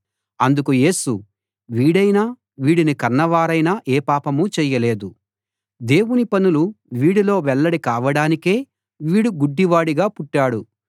అందుకు యేసు వీడైనా వీడిని కన్నవారైనా ఏ పాపమూ చేయలేదు దేవుని పనులు వీడిలో వెల్లడి కావడానికే వీడు గుడ్డివాడుగా పుట్టాడు